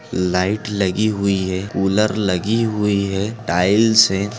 Light लगी हुई है कूलर लगी हुई है टाइल्स है।